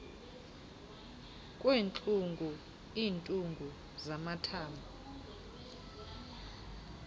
kwentlungu iintungu zamathambo